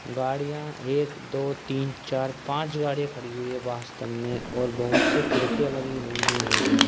गाड़ियां एक दो तीन चार पाँच गाड़ियां खड़ी हुई हैं वास्तव में और बहोत सी खिड़कियां लगी हुई है इस भवन में।